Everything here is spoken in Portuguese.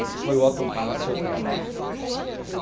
Esse foi o Autumn Palace Hotel